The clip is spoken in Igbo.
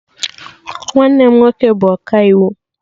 Nwanne m nwoke bụ ọkaiwu